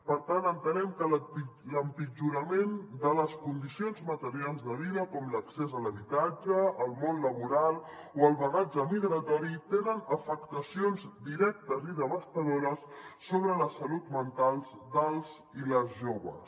per tant entenem que l’empitjorament de les condicions materials de vida com l’accés a l’habitatge o al món laboral o el bagatge migratori tenen afectacions directes i devastadores sobre la salut mental dels i les joves